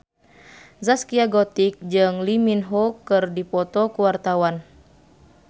Zaskia Gotik jeung Lee Min Ho keur dipoto ku wartawan